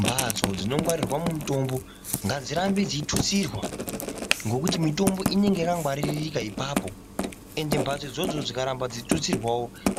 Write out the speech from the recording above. Mbatso dzinongwarirwa mitombo ngadzirambe dzeitutsirwa ngekuti mitombo inenge yakangwaririka ipapo ende mbatso idzodzo dzikaramba dzeitutsirwa